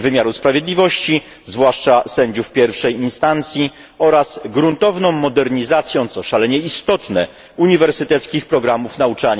wymiaru sprawiedliwości, zwłaszcza sędziów pierwszej instancji, oraz gruntowną modernizacją, co szalenie istotne, uniwersyteckich programów nauczania